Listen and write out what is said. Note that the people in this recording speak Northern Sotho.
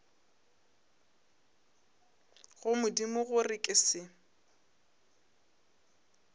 go modimo gore ke se